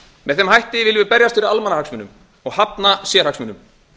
með þeim hætti viljum við berjast fyrir almannahagsmunum og hafna sérhagsmunum